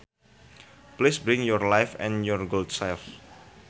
Please bring your wife and your good self